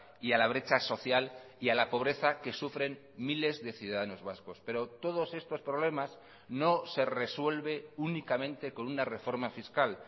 y a la brecha social y a la pobreza que sufren miles de ciudadanos vascos pero todos estos problemas no se resuelve únicamente con una reforma fiscal